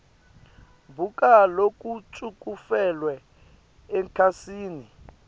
buka lokucuketfwe ekhasini